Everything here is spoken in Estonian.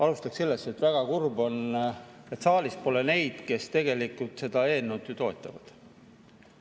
Alustan sellest, et väga kurb on, et saalis pole neid, kes tegelikult seda eelnõu toetavad.